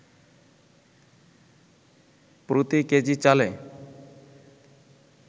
প্রতি কেজি চালে